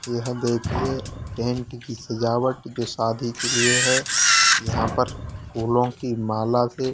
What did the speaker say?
यहां देखिए टेंट की सजावट जो शादी के लिए है यहां पर फूलों की माला से--